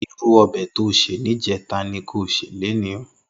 Irú òbè tó sé nijètá ni kó sé lóní